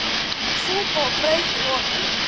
Súpa og brauð í lokin.